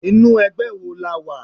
Inú ẹgbẹ́ wo lo wà?